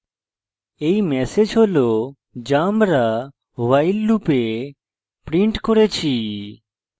এই ম্যাসেজ হল যা আমরা while loop printed করেছি